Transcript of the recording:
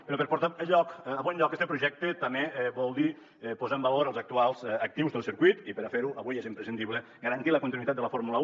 però per portar a bon lloc este projecte també vol dir posar en valor els actuals actius del circuit i per a fer ho avui és imprescindible garantir la continuïtat de la fórmula un